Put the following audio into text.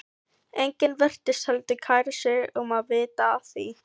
Enginn virtist heldur kæra sig um að vita af því.